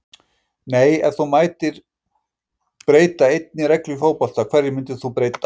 nei Ef þú mættir breyta einni reglu í fótbolta, hverju myndir þú breyta?